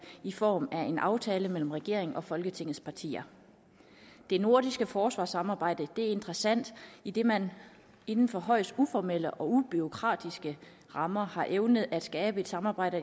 i form af en aftale mellem regeringen og folketingets partier det nordiske forsvarssamarbejde er interessant idet man inden for højst uformelle og ubureaukratiske rammer har evnet at skabe et samarbejde